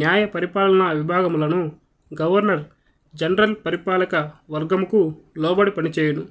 న్యాయపరిపాలన విభాగములను governor general పరిపాలక వర్గముకులోబడి పనిచేయును